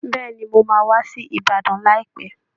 Bẹ́ẹ̀ ni, mo máa wá sí Ìbàdàn láìpẹ́